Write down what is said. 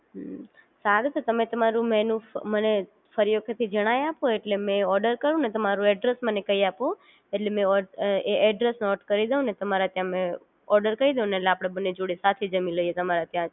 હમ્મ સારું તો તેમ તમારું મેનૂ મને ફરી વખત થી મને જણાવી આપો એટલે મે ઓર્ડર કરું ને તમારું એડ્રેસ મને કઈ આપો એટલે મે ઓ એ એડ્રેસ નોટ કરી દવ ને તમારા ત્યાં ઓર્ડર કઈ દવ ને એટેલે આપણે બંને જોડે સાથે જામી લઈએ તમારે ત્યાંજ